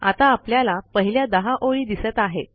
आता आपल्याला पहिल्या 10 ओळी दिसत आहेत